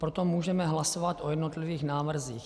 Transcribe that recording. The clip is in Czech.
Proto můžeme hlasovat o jednotlivých návrzích.